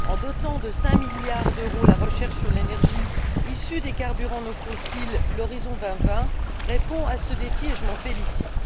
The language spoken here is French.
En dotant de 5 milliards d'euros la recherche sur l'énergie issue des carburants non fossiles, Horizon 2020 répond à ce défi et je m'en félicite.